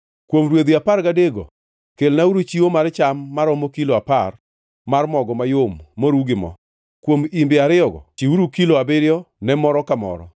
Kuom rwedhi apar gadekgo kelnauru chiwo mar cham maromo kilo apar mar mogo mayom moru gi mo; kuom imbe ariyogo, chiwuru kilo abiriyo ne moro ka moro;